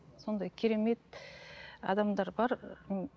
сондай керемет адамдар бар ммм